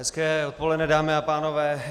Hezké odpoledne, dámy a pánové.